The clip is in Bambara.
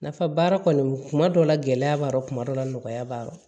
Nafa baara kɔni kuma dɔ la gɛlɛya b'a la kuma dɔ la nɔgɔya b'a la